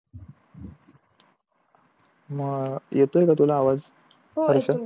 अं येतोय का तुला आवाज हर्ष?